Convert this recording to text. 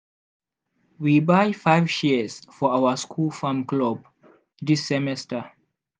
we buy five shears for our school farm club this semester.